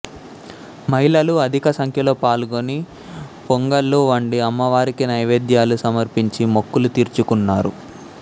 మహిళలు అధిక సంఖ్యలో పాల్గొని పొంగళ్ళు వండి అమ్మవారికి నైవేద్యాలు సమర్పించి మొక్కులు తీర్చుకున్నారు